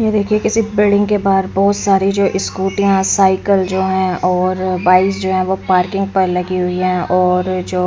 ये देखिए किसी बिल्डिंग के बाहर बहुत सारे जो स्कूटीया साइकिल जो हैं और बाइक जो हैं वह पार्किंग पर लगी हुईं हैं और जो